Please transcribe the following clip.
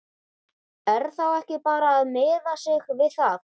Er þá ekki bara að miða sig við það?